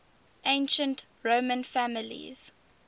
ancient roman families